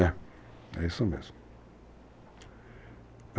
É. É isso mesmo.